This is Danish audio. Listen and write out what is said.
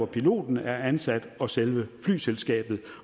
piloten er ansat og selve flyselskabet